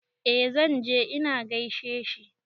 Eh zan je in gaishe shi.